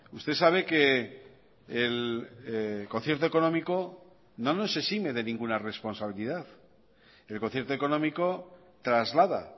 usted sabe que el concierto económico no nos exime de ninguna responsabilidad el concierto económico traslada